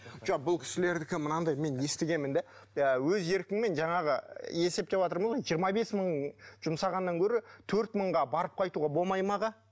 жоқ бұл кісілердікі мынандай мен естігенмін де ы өз еркіңмен жаңағы есептеватырмын ғой жиырма бес мың жұмсағаннан гөрі төрт мыңға барып қайтуға болмайды ма аға